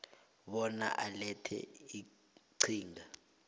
bona ulethe iqhinga